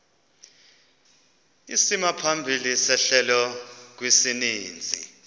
isimaphambili sehlelo kwisininzi